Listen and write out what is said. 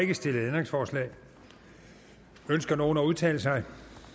ikke stillet ændringsforslag ønsker nogen at udtale sig